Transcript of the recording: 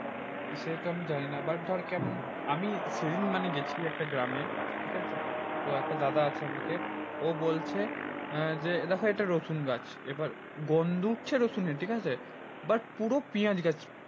সেহেতু আমি জানিনা but ধর কেমন আমি সেদিন মানে গেছি একটা গ্রামে, ঠিকাছে তো একটা দাদা আছে আমাকে ও বলছে আহ যে দেখো এটা রসুন গাছ। এবার গন্ধ উঠছে রসুনের ঠিকাছে but পুরো পিঁয়াজ গাছ।